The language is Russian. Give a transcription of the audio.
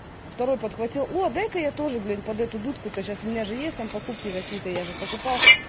второй подхватил о дай-ка я тоже блин под эту дудку то сейчас у меня же есть там покупки какие-то я же покупал